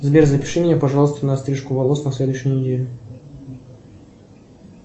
сбер запиши меня пожалуйста на стрижку волос на следующую неделю